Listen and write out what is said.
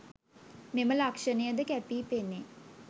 මෙම ලක්ෂණය ද කැපී පෙනේ.